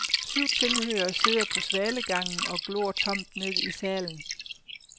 Syv tilhørere sidder på svalegangen og glor tomt ned i salen.